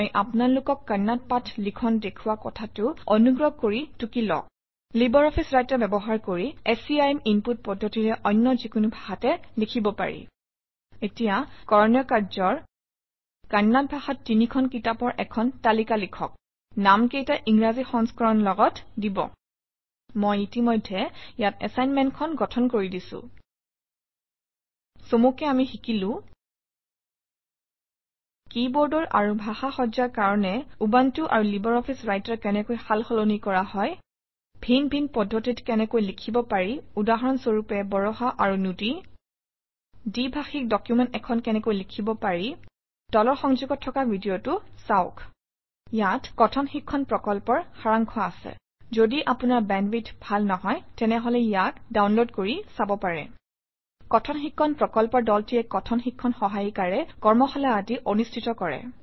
মই আপোনালোকক কন্নড় পাঠ লিখন দেখুওৱা কথাটো অনুগ্ৰহ কৰি টুকি লওক লাইব্ৰঅফিছ ৰাইটাৰ ব্যৱহাৰ কৰি স্কিম ইনপুট পদ্ধতিৰে অন্য যিকোনো ভাষাতে লিখিব পাৰি এতিয়া কৰণীয় কাৰ্য কন্নড় ভাষাত তিনিখন কিতাপৰ এখন তালিকা লিখক নামকেইটাৰ ইংৰাজী সংস্কৰণ লগত দিব ইতিমধ্যে ইয়াত এচাইনমেণ্টখন গঠন কৰি দিছোঁ চমুকৈ আমি শিকিলো কিবৰ্ড আৰু ভাষা সজ্জাৰ কাৰণে উবুণ্টু আৰু লাইব্ৰঅফিছ ৰাইটাৰ কেনেকৈ সাল সলনি কৰা হয় ভিন ভিন পদ্ধতিত কেনেকৈ লিখিব পাৰি উদাহৰণ স্বৰূপে বৰাহা আৰু নুদি দ্বি ভাষিক ডকুমেণ্ট এখন কেনেকৈ লিখিব পাৰি তলৰ সংযোগত থকা ভিডিঅটো চাওক ইয়াত কথন শিক্ষণ প্ৰকল্পৰ সাৰাংশ আছে যদি আপোনাৰ বেণ্ডৱিডথ ভাল নহয় তেনেহলে ইয়াক ডাউনলোড কৰি চাব পাৰে কথন শিক্ষণ প্ৰকল্পৰ দলটিয়ে কথন শিক্ষণ সহায়িকাৰে কৰ্মশালা আদি অনুষ্ঠিত কৰে